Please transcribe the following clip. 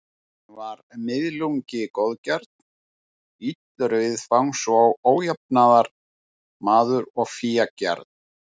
Hann var miðlungi góðgjarn, illur viðfangs og ójafnaðarmaður og fégjarn.